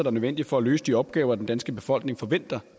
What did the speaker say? er nødvendige for at løse de opgaver den danske befolkning forventer